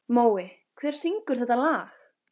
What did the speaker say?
Mói, hver syngur þetta lag?